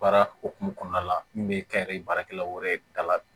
Baara hokumu kɔnɔna la min bɛ kɛ baarakɛlaw yɛrɛ da la